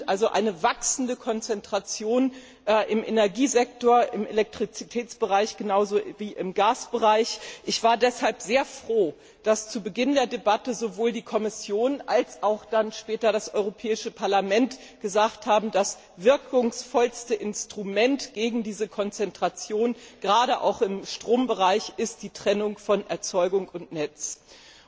also die Konzentration im Energiesektor, im Elektrizitätsbereich genau so wie im Gasbereich, zunimmt. Ich war deshalb sehr froh, dass zu Beginn der Debatte sowohl die Kommission als auch dann später das Europäische Parlament gesagt haben, dass das wirkungsvollste Instrument gegen diese Konzentration gerade auch im Strombereich die Trennung von Erzeugung und Netz ist.